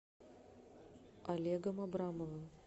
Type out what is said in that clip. олегом абрамовым